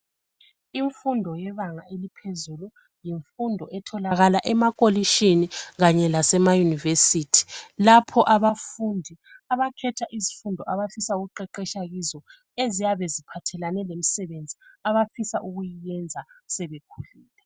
Imfundo yebanga eliphezulu, yimfundo etholakala emakolishini kanye lasema univesithi, lapho abafundi abakhetha izifundo abafisa ukuqeqetshwa kizo eziyabe aziphathelane lemisebenzi abafisa ukuyenza sebekhulile.